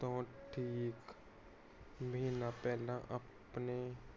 ਤੋਂ ਠੀਕ ਮਹੀਨਾ ਪਹਿਲਾ। ਆਪਣੇ